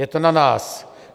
Je to na nás.